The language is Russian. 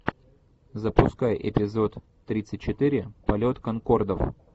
запускай эпизод тридцать четыре полет конкордов